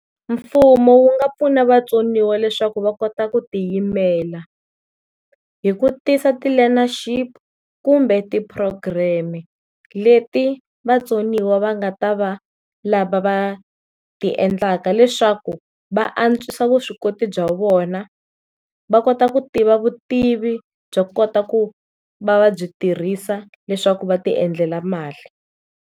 Mfumo wu nga pfuna vatsoniwa leswaku va kota ku tiyimela hi ku tisa ti learnership kumbe ti program-e leti vatsoniwa va nga ta va lava va ti endlaka leswaku va antswisa vuswikoti bya vona va kota ku tiva vutivi byo kota ku va va byi tirhisa leswaku va ti endlela mali.